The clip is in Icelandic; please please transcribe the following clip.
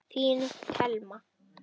Þín Thelma.